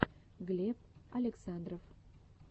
глеб александров